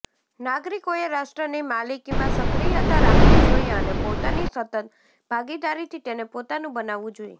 નાગરિકોએ રાષ્ટ્રની માલિકીમાં સક્રિયતા રાખવી જોઈએ અને પોતાની સતત ભાગીદારીથી તેને પોતાનું બનાવવું જોઈએ